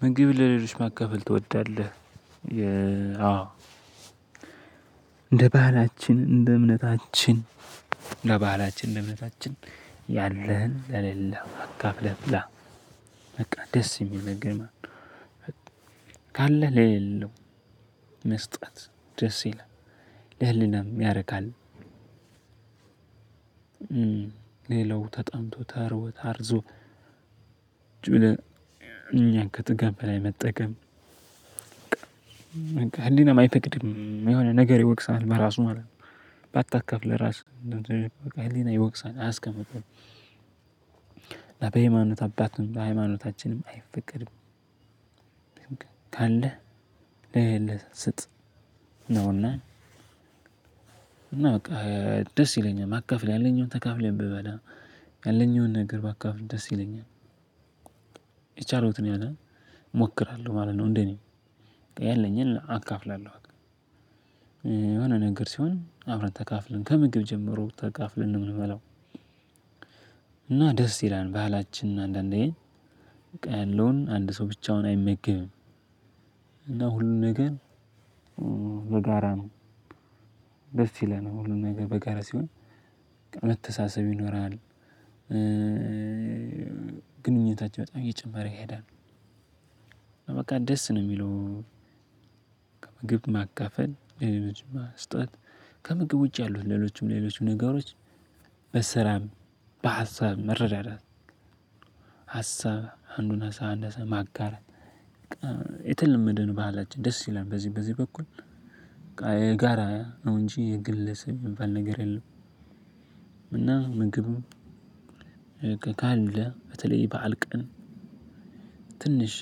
ምግብ ለሌሎች ማካፈል ትወዳለህ? የ አወ። እንደ ባህላችን እንደ እምነታችን ለባህላችን ለእምነታችን ያለህን ለሌለው አካፍለህ ብላ በቃ ደስ የሚል ነገር። ካለህ ለሌለው መስጠት ደስ ይለናል ለህሊናም ያረካል። ሌላው ተጠምቶ ተርቦ ታርዞ። እኛን ከጥጋብ በላይ መጠቀም በቃ ህሊናም አይፈቅድም የሆነ ነገር ይወቅሳል በራሱ ማለት ነው። ባታከፍ ለራስ በቃ ህሊና ይወቅሳል አያስቀምጥም። እና በሃይማኖት አባትም በሃይማኖታችንም አይፈቅድም። ካለህ ለሌለህ ስጥ ነውና። እና በቃ ደስ ይለኛል ማካፍል ያለኝን ተካፍለን ብበላ ያለኝን ነገር ባካፍል ደስ ይለኛል። የቻሉትን ያህል እሞክራለሁ ማለት ነው እንዴ እኔ ያለኝን አካፍላለሁ። የሆነ ነገር ሲሆን አብረን ተካፍለን ከምግብ ጀምሮ ተካፍለን ነው የምንበላው። እና ደስ ይላል ባህላችንን አንዳንዴ በቃ ያለውን አንድ ሰው ብቻውን አይመግብም። እና ሁሉንም ነገር በጋራ ነው። ደስ ይለናል ሁሉም ነገር በጋራ ሲሆን መተሳሰብ ይኖራል። ግንኙነታችን በጣም እየጨመረ ይሄዳል። በቃ ደስ ነው የሚለው። ከምግብ ማካፈል ለሌሎችም መስጠት ከምግብ ውጪ ያሉት ሌሎችም ሌሎችም ነገሮች በስራም በሀሳብ መረዳዳት። ሀሳብ አንዱን ሀሳብ አንድ ሀሳብ ማጋራት። የተለመደን ባህላችን ደስ ይላል በዚህ በዚህ በኩል። የጋራ ነው እንጅ የግል ስም የሚባል ነገር የለም። እና ምግብም ካለ በተለይ የበአል ቀን ትንሽ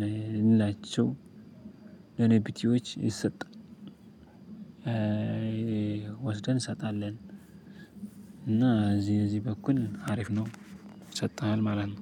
ልላቸው ለኔ ቢቲዎች ይሰጥ። ወስደን እንሰጣለን። እና እዚህ እዚህ በኩል አሪፍ ነው። ይሰጥሃል ማለት ነው።